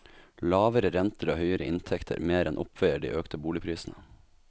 Lavere renter og høyere inntekter mer enn oppveier de økte boligprisene.